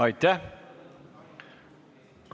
Aitäh!